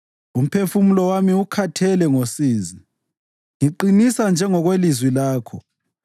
Umphefumulo wami ukhathele ngosizi; ngiqinisa njengokwelizwi lakho.